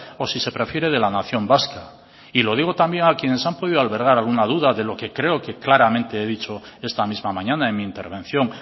o si se prefiere de la nación vasca y lo digo también a quienes han podido albergar alguna duda de lo que creo que claramente he dicho esta misma mañana en mi intervención